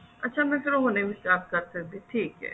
ਅੱਛਾ ਮਤਲਬ ਉਹ ਨੀ ਸਕਦੀ